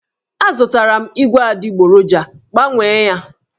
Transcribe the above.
Azụtara m ígwè adịgboroja, Gbanwee ya!